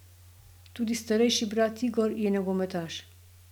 Tudi starejši brat Igor je nogometaš.